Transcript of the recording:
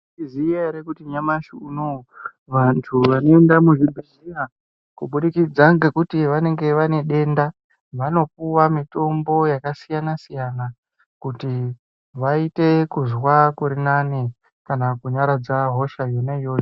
Maizviziya ere kuti nyamashi unou vantu vanoenda kuzvibhehleya kubudikidza ngekuti vanenge vanedenda vanopuwa mitombo yakasiyana siyana kuti vaite kunzwa kurinani kana kunyaradza hosha yona iyoyo.